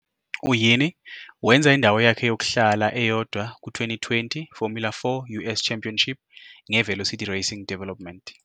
U-Yeany wenza indawo yakhe yokuhlala eyodwa ku- 2020 Formula 4 US Championship ngeVelocity Racing Development.